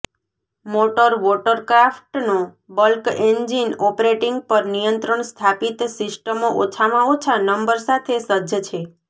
motor વોટરક્રાફ્ટનો bulk engine operating પર નિયંત્રણ સ્થાપિત સિસ્ટમો ઓછામાં ઓછા નંબર સાથે સજ્જ છે